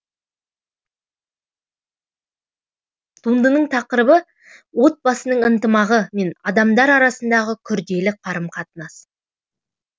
туындының тақырыбы отбасының ынтымағы мен адамдар арасындағы күрделі қарым қатынас